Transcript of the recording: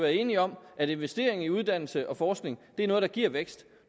enige om at investering i uddannelse og forskning er noget der giver vækst